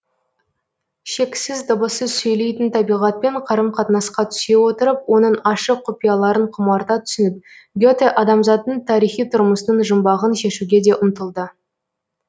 шексіз дыбыссыз сөйлейтін табиғатпен қарым қатынасқа түсе отырып оның ашық құпияларын құмарта түсініп гете адамзаттың тарихи тұрмысының жұмбағын шешуге де ұмтылды